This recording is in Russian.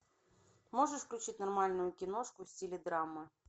можешь включить нормальную киношку в стиле драмы